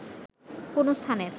কোনো স্থানের